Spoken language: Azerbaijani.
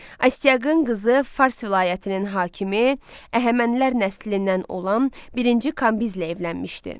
Astiaqın qızı Fars vilayətinin hakimi, Əhəmənilər nəslindən olan birinci Kambizlə evlənmişdi.